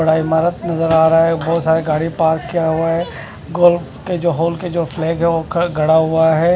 बड़ा इमारत नजर आ रहा है बहोत सारी गाड़ियां पार्क किया हुआ है गोल्फ के जो होल के जो फ्लैग ग है गड़ा हुआ है--